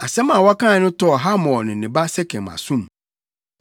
Asɛm a wɔkae no tɔɔ Hamor ne ne ba Sekem asom.